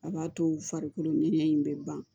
A b'a to farikolo ŋɛɲɛ in bɛ ban